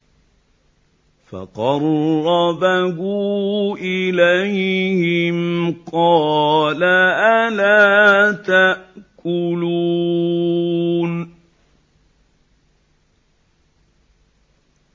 فَقَرَّبَهُ إِلَيْهِمْ قَالَ أَلَا تَأْكُلُونَ